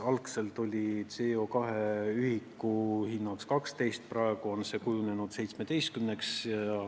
Algselt oli CO2 ühiku hind 12 eurot, praegu on hinnaks kujunenud 17 eurot.